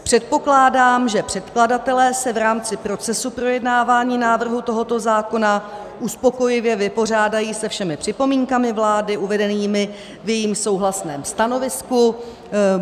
Předpokládám, že předkladatelé se v rámci procesu projednávání návrhu tohoto zákona uspokojivě vypořádají se všemi připomínkami vlády uvedenými v jejím souhlasném stanovisku.